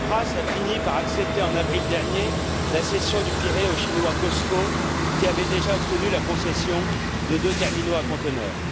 Tsipras a fini par accepter, en avril dernier, la cession du Pirée au chinois Cosco, qui avait déjà obtenu la concession de deux terminaux à conteneurs.